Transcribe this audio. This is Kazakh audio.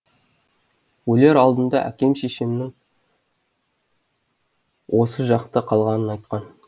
өлер алдында әкем шешемнің осы жақта қалғанын айтқан